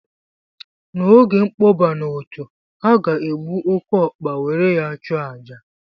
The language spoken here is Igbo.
N'oge nkpọba na otu ha ga-egbu oke ọkpa were ya chụọ àjà